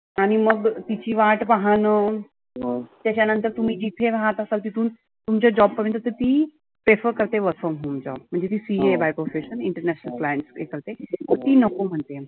आणि मग तिची वाट पहानं त्याच्या नंतर तुम्ही तिथे राहत असाल तिथून तुमच्या job पर्यंत ती prefer करते work from home job. म्हणजे ती CA आहे by professional International client करते. तर ती नको म्हणते.